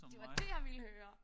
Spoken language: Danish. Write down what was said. Det var dét jeg ville høre!